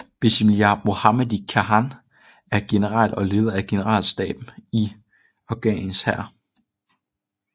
Bismillah Mohammadi Khan er General og leder af generalstaben i Afghanistans hær